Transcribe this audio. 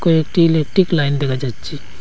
কয়েকটি electric line দেখা যাচ্ছে।